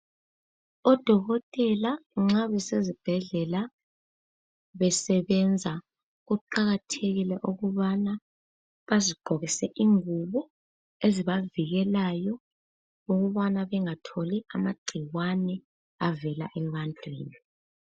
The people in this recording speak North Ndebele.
Odokotela nxa besezibhedlela besebenza kuqakathekile ukubana bazigqokise izingubo ezibavikelayo ukubana bengatholi amagcikwane avela ebantwini.